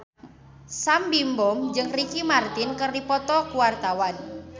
Sam Bimbo jeung Ricky Martin keur dipoto ku wartawan